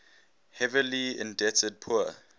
heavily indebted poor